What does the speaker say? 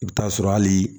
I bɛ taa sɔrɔ hali